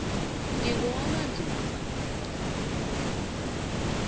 ngingowamandzundza